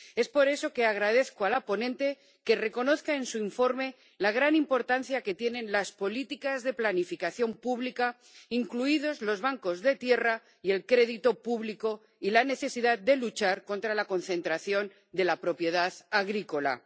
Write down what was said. Es por eso que agradezco a la ponente que reconozca en su informe la gran importancia que tienen las políticas de planificación pública, incluidos los bancos de tierra y el crédito público, y la necesidad de luchar contra la concentración de la propiedad agrícola.